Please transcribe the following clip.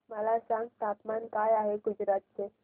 मला सांगा तापमान काय आहे गुजरात चे